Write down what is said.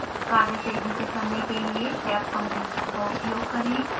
कार्य तेजी से करने के लिए tabcompletion का उपयोग करना